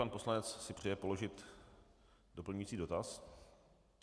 Pan poslanec si přeje položit doplňující dotaz.